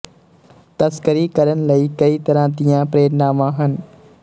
ਤਸਕਰੀ ਕਰਨ ਲਈ ਕਈ ਤਰ੍ਹਾਂ ਦੀਆਂ ਪ੍ਰੇਰਨਾਵਾਂ ਹਨ